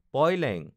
পয় লেং